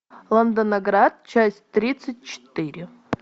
лондонград часть тридцать четыре